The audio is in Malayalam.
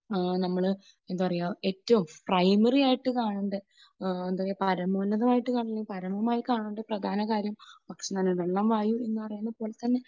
ആഹ് നമ്മൾ, എന്താ പറയുക, ഏറ്റവും പ്രൈമറി ആയിട്ട് കാണുന്ന എന്താ പരമോന്നതമായിട്ട് കാണേണ്ട പരമായി കാണേണ്ട പ്രധാനകാര്യം ഭക്ഷണമാണ്. വെള്ളം വായും എന്ന് പറയുന്നതുപോലെതന്നെ